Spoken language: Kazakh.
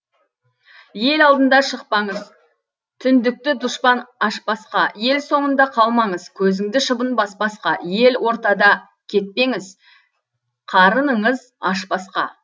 ел алдына шықпаңыз түндікті дұшпан ашпасқа ел соңында қалмаңыз көзіңді шыбын баспасқа ел ортадан кетпеңіз қарыныңыз ашпасқа